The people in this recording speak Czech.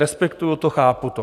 Respektuju to, chápu to.